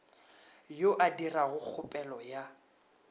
yo a dirago kgopelo ya